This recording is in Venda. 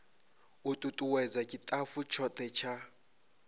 u tutuwedza tshitafu tshothe tsha